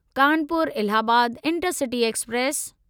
Kanpur Allahabad intercity express